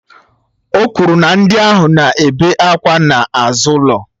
O kwuru na ndị ohu na-ebe àkwà n'azụ ụlọ